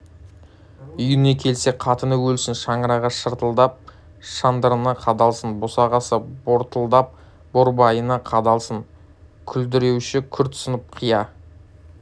үйіне келсе қатыны өлсін шаңырағы шартылдап шандырына қадалсын босағасы бортылдап борбайына қадалсын күлдіреуіші күрт сынып қия